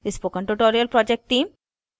spoken tutorial project team